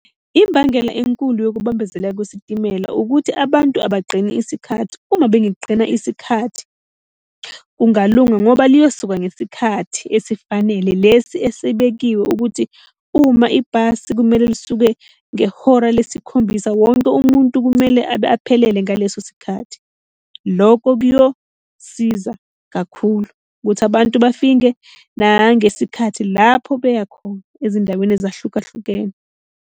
Imbangela enkulu yokubambezeleka kwesitimela ukuthi abantu abagqini isikhathi. Uma bengagqina isikhathi, kungalunga ngoba liyosuka ngesikhathi esifanele lesi esebekiwe ukuthi uma ibhasi kumele lisuke ngehora lesikhombisa, wonke umuntu kumele abe aphelele ngaleso sikhathi. Loko kuyosiza kakhulu ukuthi abantu bafinke nangesikhathi lapho beya khona ezindaweni ezahlukahlukene.